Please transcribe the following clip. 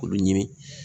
Olu ɲini